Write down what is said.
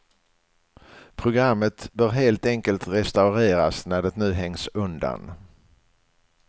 Programmet bör helt enkelt restaureras när det nu hängs undan.